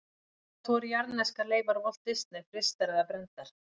Hvort voru jarðneskar leifar Walt Disney frystar eða brenndar?